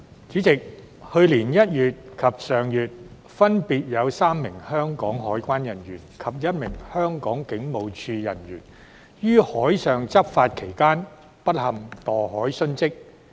主席，去年1月及上月，分別有3名香港海關人員及1名香港警務處人員於海上執法期間不幸墮海殉職。